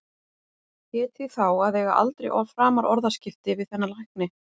Hét því þá að eiga aldrei framar orðaskipti við þennan lækni.